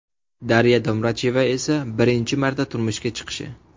Darya Domracheva esa birinchi marta turmushga chiqishi.